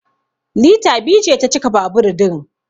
Lita biyu ce ta cika babur din